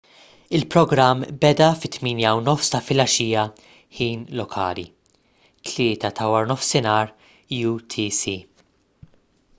il-programm beda fit-8:30 ta' filgħaxija ħin lokali 15:00 utc